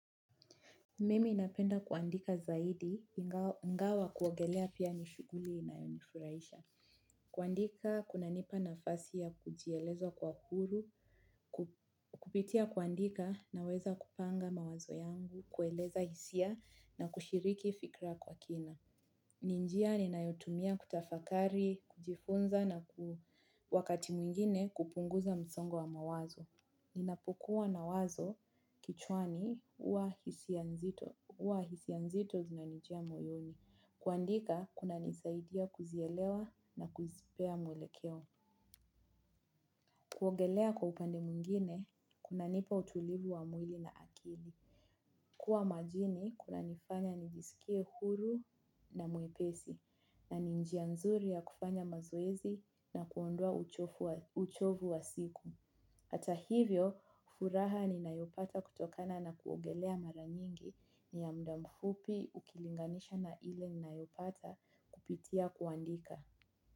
Mimi napenda kuandika zaidi, ingawa kuogelea pia nishughuli inayonifuraisha. Kuandika, kuna nipa nafasi ya kujieleza kwa huru, kupitia kuandika na weza kupanga mawazo yangu, kueleza hisia na kushiriki fikra kwa kina. Ninjia ninayotumia kutafakari, kujifunza na wakati mwingine kupunguza msongo wa mawazo. Hisia nzito zinanijia moyoni. Kuandika, kuna nisaidia kuzielewa na kuzipea mwelekeo. Kuongelea kwa upande mwingine, kuna nipa utulivu wa mwili na akili. Kuwa majini, kuna nifanya nijisikie huru na mwepesi. Na ninjia nzuri ya kufanya mazoezi na kuondoa uchovu wa siku. Hata hivyo, furaha ni nayopata kutokana na kuongelea mara nyingi ni ya mdamfupi. Ukilinganisha na ile ninayopata kupitia kuandika.